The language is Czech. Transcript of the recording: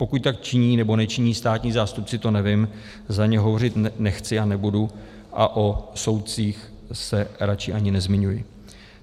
Pokud tak činí nebo nečiní státní zástupci, to nevím, za ně hovořit nechci a nebudu, a o soudcích se raději ani nezmiňuji.